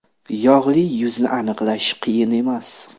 Yog‘li yuzni aniqlash qiyin emas.